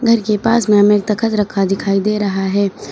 घर के पास में हमें एक तखत रखा दिखाई दे रहा है।